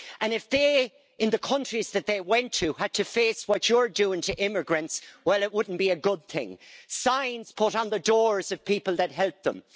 If they, in the countries that they went to, had to face what you're doing to immigrants, well, it wouldn't be a good thing signs put on the doors of people that helped them